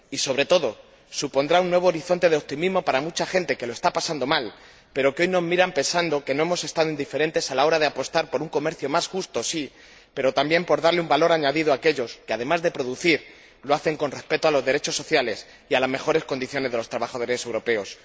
Y, sobre todo, supondrá un nuevo horizonte de optimismo para mucha gente que lo está pasando mal, pero que hoy nos mira pensando que no nos hemos mostrado indiferentes a la hora de apostar por un comercio más justo, sí, pero también por darle un valor añadido a aquellos que, además de producir, lo hacen respetando los derechos sociales y las mejores condiciones de los trabajadores europeos.